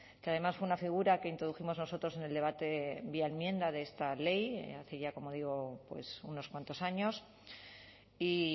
que además fue una figura que introdujimos nosotros en el debate vía enmienda de esta ley hace ya como digo unos cuantos años y